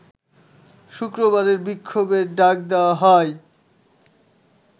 শুক্রবারের বিক্ষোভের ডাক দেওয়া হয়